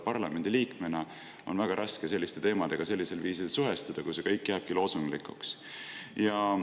Parlamendi liikmena on väga raske selliste teemadega sellisel viisil suhestuda, kui see kõik jääbki loosunglikuks.